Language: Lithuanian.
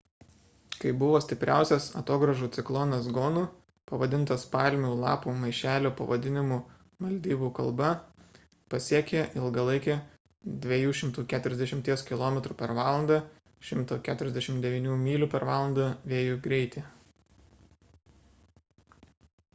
kai buvo stipriausias atogrąžų ciklonas gonu pavadintas palmių lapų maišelio pavadinimu maldyvų kalba pasiekė ilgalaikį 240 km/val. 149 myl./val. vėjo greitį